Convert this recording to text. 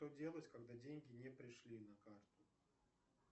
что делать когда деньги не пришли на карту